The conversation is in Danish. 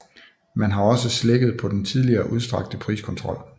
Man har også slækket på den tidligere udstrakte priskontrol